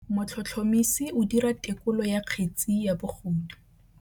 Motlhotlhomisi o dira têkolô ya kgetse ya bogodu.